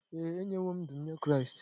Ee, enyewo m ndụ m nye Kraịst.